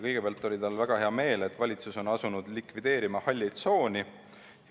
Kõigepealt oli tal väga hea meel, et valitsus on asunud likvideerima halli tsooni.